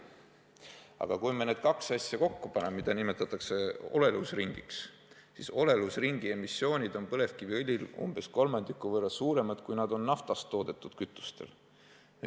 Aga kui me need kaks asja kokku paneme – seda nimetatakse olelusringiks –, siis olelusringi emissioon on põlevkiviõli puhul umbes kolmandiku võrra suurem, kui see on naftast toodetud kütustel.